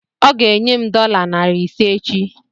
Ọ ga enye m dọla narị ise echi